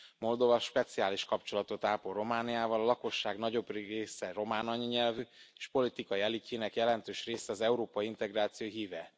Moldova speciális kapcsolatot ápol Romániával, a lakosság nagyobbik része román anyanyelvű, és politikai elitjének jelentős része az európai integráció híve.